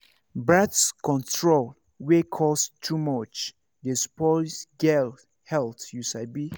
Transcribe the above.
birth control wey cost too much dey spoil girls health you sabi